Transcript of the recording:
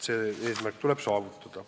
See eesmärk tuleb saavutada.